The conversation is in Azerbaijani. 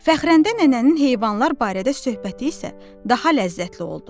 Fəxrəndə nənənin heyvanlar barədə söhbəti isə daha ləzzətli oldu.